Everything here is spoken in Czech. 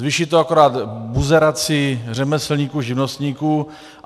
Zvýší to akorát buzeraci řemeslníků, živnostníků.